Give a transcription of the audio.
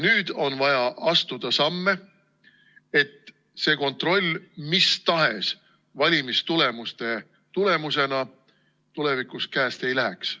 Nüüd on vaja astuda samme, et see kontroll mis tahes valimistulemuste tulemusena tulevikus käest ei läheks.